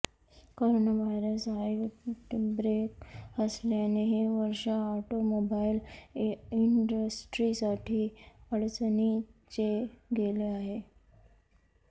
corona virus outbreak असल्याने हे वर्ष ऑटोमोबाइल इंडस्ट्रीसाठी अडचणीचे गेले आहे